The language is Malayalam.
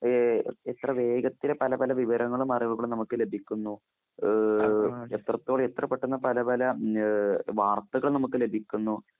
ഏഹ് എത്രവേഗത്തില് പലപല വിവരങ്ങളും, അറിവുകളുംനമുക്ക് ലഭിക്കുന്നു. ഏഹ് എത്രത്തോളഎത്രപെട്ടെന്നാപലപല ഏഹ് വാർത്തകൾനമുക്ക് ലഭിക്കുന്നു.